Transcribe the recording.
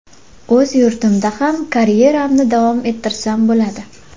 O‘z yurtimda ham karyeramni davom ettirsam bo‘ladi.